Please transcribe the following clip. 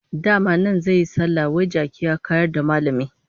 Dama nan zan yi sallah, wai jaki ya kayar da Mallam!